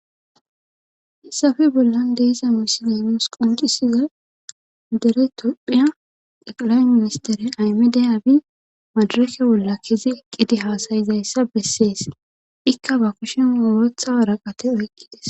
hessafe bollan de'iza misiley nuusi quncisiza dere topphiya eqlay ministere aymiday abi madurake wolla kizi eqqidi haasayizayssa bessees ikka ba kushin wootha waraqate oyqqides